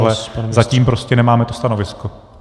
Ale zatím prostě nemáme to stanovisko.